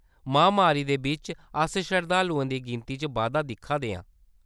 महामारी दे बिच्च, अस शरधालुएं दी गिनती च बाद्धा दिक्खा दे हे।